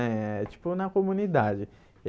É tipo na comunidade.